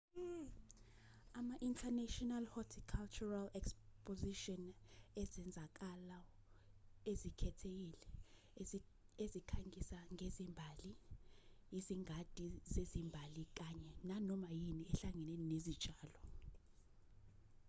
ama-international horticultural exposition ezenzakalo ezikhethekile ezikhangisa ngezimbali izingadi zezimbali kanye nanoma yini ehlangene nezitshalo